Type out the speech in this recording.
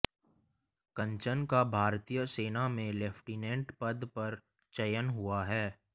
कंचन का भारतीय सेना में लेफ्टिनेंट पद पर चयन हुआ है